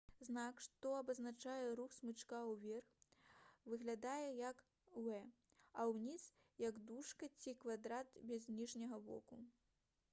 знак што абазначае рух смычка ўверх выглядае як «v» а ўніз — як дужка ці квадрат без ніжняга боку